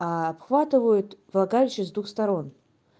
обхватывают влагалище с двух сторон